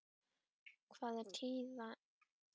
Hvað er tíðinda af Jóni biskupi Arasyni?